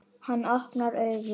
Hann opnar augun.